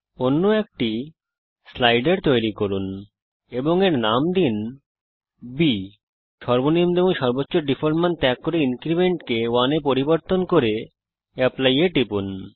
অন্য একটি স্লাইডার তৈরি করুন এবং এর নাম দিন বি সর্বনিম্ন এবং সর্বোচ্চ ডিফল্ট মান ত্যাগ করি এবং ইনক্রিমেন্ট কে 1 এ পরিবর্তন করি এবং অ্যাপলি টিপি